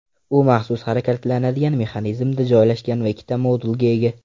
U maxsus harakatlanadigan mexanizmda joylashgan va ikkita modulga ega.